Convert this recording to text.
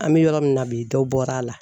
An bɛ yɔrɔ min na bi dɔ bɔra a la.